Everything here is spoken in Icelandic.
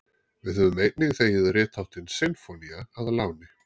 við höfum einnig þegið ritháttinn sinfónía að láni